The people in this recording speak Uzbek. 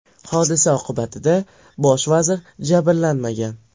Hodisa oqibatida bosh vazir jabrlanmagan.